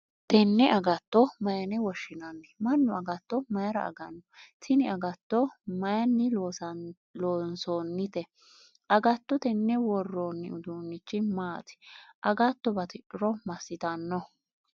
Tenne agatto mayine woshinnanni? Manu agatto mayira aganni? Tinni agatto mayinni loonsoonnite? Agatto tenne woroonni uduunichi maati? agatto batidhuro masitanno?